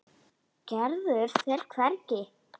Gerður fer hvergi.